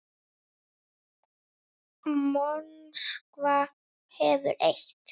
Moskva hefur eitt.